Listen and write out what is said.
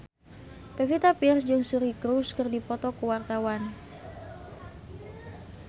Pevita Pearce jeung Suri Cruise keur dipoto ku wartawan